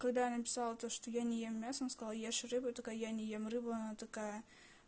когда я написала то что я не ем мясо она сказала ешь рыбу и я такая я не ем рыбу она такая